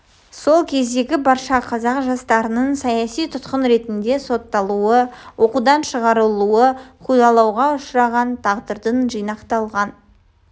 сол кездегі барша қазақ жастарының саяси тұтқын ретінде сотталуы оқудан шығарылуы қудалауға ұшыраған тағдылардың жинақталған